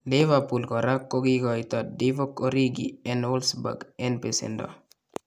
Liverpool koraa kokikoitoo Divock Origi en Wolfsburg en besendoo